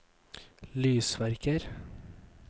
lysverker